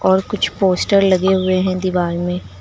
और कुछ पोस्टर लगे हुए है दीवाल में।